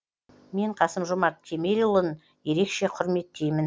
мен қасым жомарт кемелұлын ерекше құрметтеймін